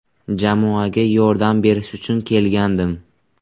Jamoaga yordam berish uchun kelgandim.